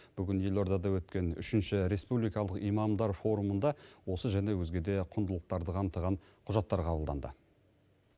бүгін елордада өткен үшінші республикалық имамдар форумында осы және өзге де құндылықтарды қамтыған құжаттар қабылданды